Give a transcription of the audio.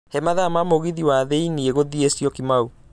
he mathaa ma mũgithi wa thiĩni gũthiĩ syokimau